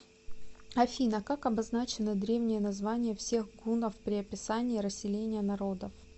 афина как обозначено древнее название всех гуннов при описании расселения народов